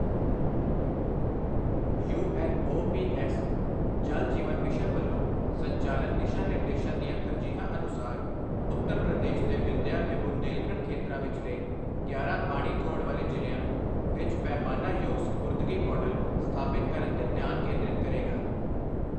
You N O P S Jal Jeevan mission ਵੱਲੋਂ ਸੰਚਾਲਨ ਦਿਸ਼ਾ ਨਿਰਦੇਸ਼ਾਂ ਦੀਆਂ ਤਰਜੀਹਾਂ ਅਨੁਸਾਰ ਉੱਤਰ ਪ੍ਰਦੇਸ਼ ਦੇ ਵਿੰਧਯਾ ਤੇ ਬੁੰਦੇਲਖੰਡ ਖੇਤਰਾਂ ਵਿਚਲੇ ਗਿਆਰਾਂ ਪਾਣੀ ਥੋੜ ਵਾਲੇ ਜਿ਼ਲਿ੍ਆਂ ਵਿੱਚ ਪੈਮਾਨਾ ਯੋਗ ਸਪੁਰਦਗੀ ਮਾਡਲ ਸਥਾਪਿਤ ਕਰਨ ਤੇ ਧਿਆਨ ਕੇਂਦਰਿਤ ਕਰੇਗਾ।